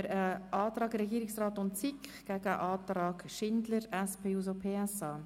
Es liegen die Anträge der SiK sowie von Grossrätin Schindler vor.